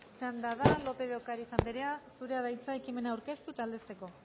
txanda da lópez de ocariz andrea zurea da hitza ekimena aurkeztu eta aldezteko